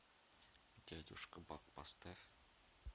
дядюшка бак поставь